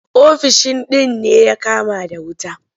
Ofishin din ne ya kama da wuta.